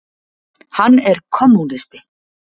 Hann er kommúnisti.